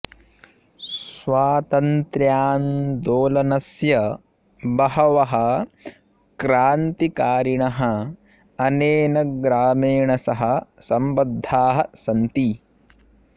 स्वातन्त्र्यान्दोलनस्य बहवः क्रान्तिकारिणः अनेन ग्रामेण सह सम्बद्धाः सन्ति